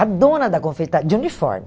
A dona da confeita, de uniforme.